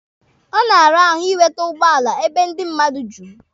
Ọ na-ara ahụ inwere ụgbọala ebe ndị mmadụ juru.